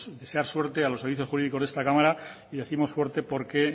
desear suerte a los servicios jurídicos de esta cámara y décimos suerte porque